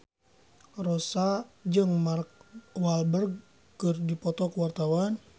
Rossa jeung Mark Walberg keur dipoto ku wartawan